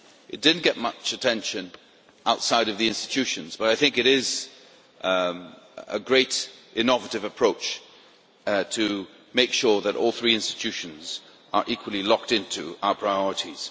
It did not get much attention outside of the institutions but I think it is a great innovative approach to make sure that all three institutions are equally locked into our priorities.